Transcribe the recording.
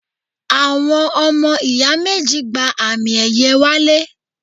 Àwọn ọmọ ìyá méjì gba àmì ẹ̀yẹ wálé